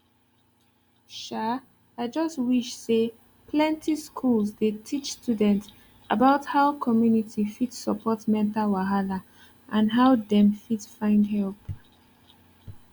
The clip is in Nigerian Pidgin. um i just wish say plenty schools dey teach students about how community fit support mental wahala and how dem fit find help